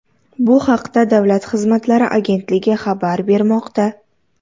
Bu haqda Davlat xizmatlari agentligi xabar bermoqda .